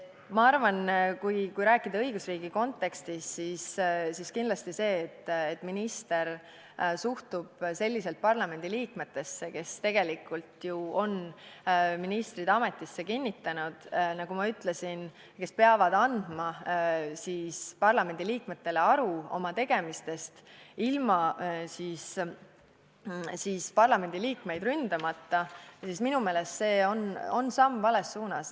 Ma arvan, et kui rääkida õigusriigi kontekstis, siis kindlasti see, et minister suhtub selliselt parlamendiliikmetesse, kes on tegelikult ministrid ametisse kinnitanud – nagu ma ütlesin, nad peavad andma parlamendiliikmetele aru oma tegemistest ilma parlamendiliikmeid ründamata –, on minu meelest see samm vales suunas.